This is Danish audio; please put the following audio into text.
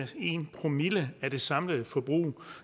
en promille af det samlede forbrug